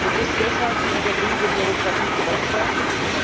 Und ist deshalb die übertriebene Bürokratie gerechtfertigt?